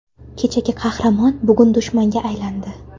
Kechagi qahramon bugun dushmanga aylandi.